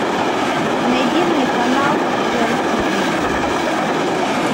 найди мне канал рен тв